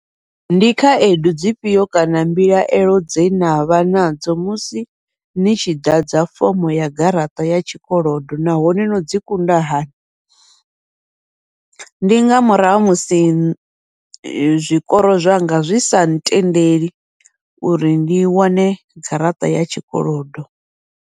Ndi khaedu dzifhio kana mbilaelo dze navha nadzo musi ni tshi ḓadza fomo ya garaṱa ya tshikolodo nahone no dzi kunda hani, ndi nga murahu ha musi zwikoro zwanga zwi sa ntendeli, uri ndi wane garaṱa ya tshikolodo.